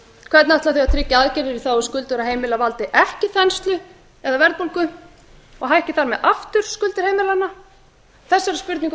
hvernig ætla þau að tryggja að aðgerðir í þágu skuldugra heimila valdi ekki þenslu eða verðbólgu og hækki þar með aftur skuldir heimilanna þessari spurningu